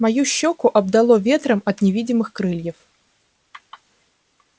мою щёку обдало ветром от невидимых крыльев